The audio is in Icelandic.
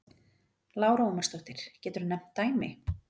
Lára Ómarsdóttir: Geturðu nefnt dæmi?